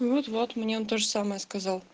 ну вот вот мне он тоже самое сказал